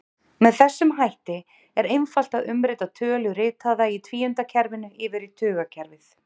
Með þessum hætti er einfalt að umrita tölu ritaða í tvíundakerfinu yfir í tugakerfið.